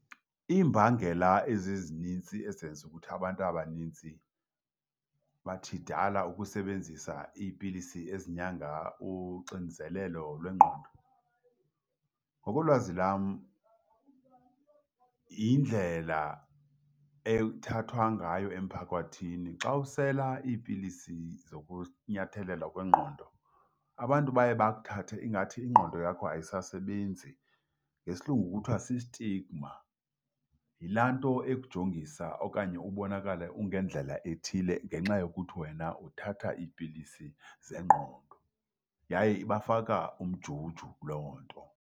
Iimbangela ezezinintsi ezenza ukuthi abantu abanintsi mathidala ukusebenzisa iipilisi ezinyanga uxinzelelo lwengqondo ngokolwazi lam yindlela ethathwa ngayo emphakathini. Xa usela iipilisi zokunyathelelwa kwengqondo, abantu baye bakuthathe ingathi ingqondo yakho ayisasebenzi, ngesilungu kuthiwa si-stigma. Yilaa nto ekujongisa okanye ubonakale ungendlela ethile ngenxa yokuthi wena uthatha iipilisi zengqondo yaye ibafaka umjuju loo nto.